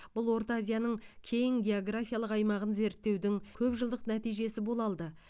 бұл орта азияның кең географиялық аймағын зерттеудің көпжылдық нәтижесі бола алды